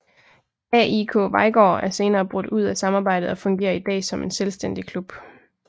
AIK Vejgaard er senere brudt ud af samarbejdet og fungerer i dag som en selvstændig klub